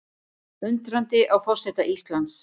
Undrandi á forseta Íslands